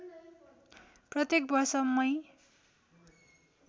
प्रत्येक वर्ष मई